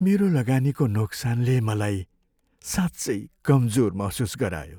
मेरो लगानीको नोक्सानले मलाई साँच्चै कमजोर महसुस गरायो।